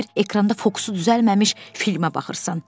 Elə bil ekranda fokusu düzəlməmiş filmə baxırsan.